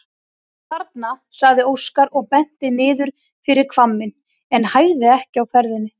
Þarna, sagði Óskar og benti niður fyrir hvamminn en hægði ekki á ferðinni.